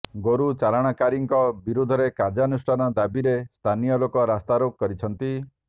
ଗୋରୁ ଚାଲାଣକାରୀଙ୍କ ବିରୋଧରେ କାର୍ଯ୍ୟାନୁଷ୍ଠାନ ଦାବିରେ ସ୍ଥାନୀୟ ଲୋକେ ରାସ୍ତାରୋକ କରିଛନ୍ତି